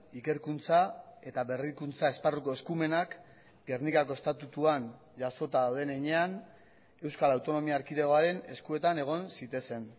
ikerkuntza eta berrikuntza esparruko eskumenak gernikako estatutuan jasota dauden heinean euskal autonomia erkidegoaren eskuetan egon zitezen